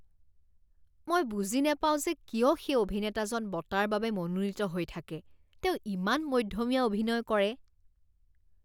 মই বুজি নাপাওঁ যে কিয় সেই অভিনেতাজন বঁটাৰ বাবে মনোনীত হৈ থাকে। তেওঁ ইমান মধ্যমীয়া অভিনয় কৰে।